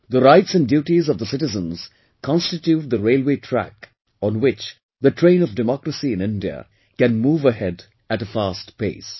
The rights and duties of the citizens constitute the railway track, on which the train of democracy in India can move ahead at a fast pace